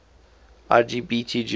lgbt jews